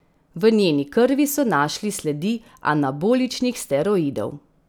V njeni krvi so našli sledi anaboličnih steroidov.